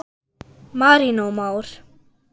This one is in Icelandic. Marinó Már.